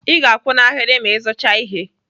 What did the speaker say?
I ga-akwụ na ahịrị ma Ị zuchaa ihe.